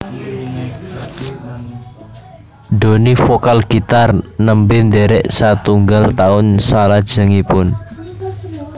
Doni vokal gitar nembe ndherek satunggal taun salajengipun